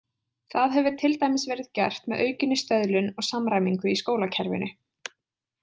Það hefur til dæmis verið gert með aukinni stöðlun og samræmingu í skólakerfinu.